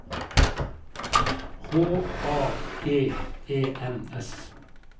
H A G E N S